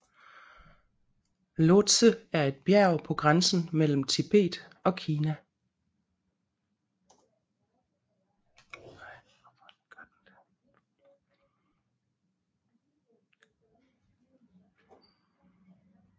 Lhotse er et bjerg på grænsen mellem Tibet og Kina